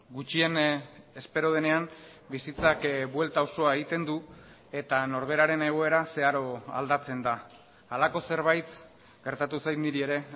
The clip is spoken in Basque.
gutxien espero denean bizitzak buelta osoa egiten du eta norberaren egoera zeharo aldatzen da halako zerbait gertatu zait niri ere